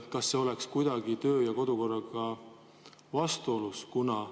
Kas see oleks kuidagi kodu- ja töökorraga vastuolus?